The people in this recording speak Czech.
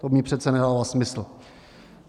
To mně přece nedává smysl.